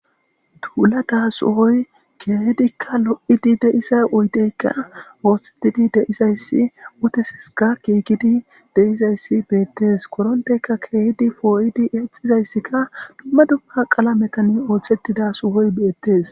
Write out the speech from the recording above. Euula da suhoy keehidikka lo7idi deisa uydeykka ooththetidi deizayssi utesiska kiekidi deizayssi beettes koronteyka keehidi pooyidi exizayssikka dumma dumma qala metani ooththettida suhoy beettes.